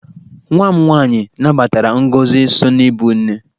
Nwa m nwaanyị nabatara ngọzị so n'ibụ nne.